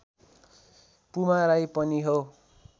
पुमा राई पनि हो